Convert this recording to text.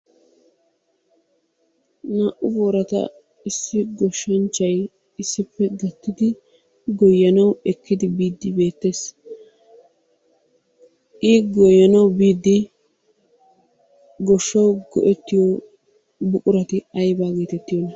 Naa"u boorata issi goshshanchchay issippe gattidi goyyanawu ekkidi biiddi beettes. I goyyanawu biiddi gishshawu go'ettiyo buqurati ayibaa geetettiyona?